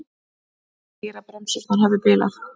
Segir að bremsurnar hafi bilað